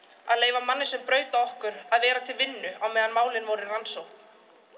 að leyfa manni sem braut á okkur að vera til vinnu á meðan málin voru í rannsókn